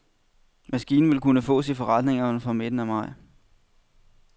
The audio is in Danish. Maskinen vil kunne fås i forretningerne fra midten af maj.